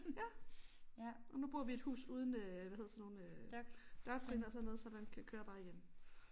Ja og nu bor vi i et hus uden øh hvad hedder sådan nogle øh dørtrin og sådan noget så den kan kører bare igennem